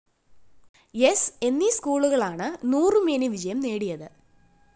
സ്‌ എന്നീ സ്കൂളുകള്‍ക്കാണ്‌ നൂറുമേനി വിജയം നേടിയത്‌